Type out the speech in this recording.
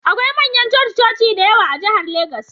Akwai manyan coci-coci da yawa a jihar Legas